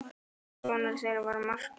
Annar sonur þeirra var Markús.